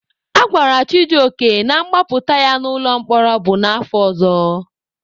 A gwara Chijioke na mgbapụta ya n'ụlọ mkpọrọ bụ n'afọ ọzọ.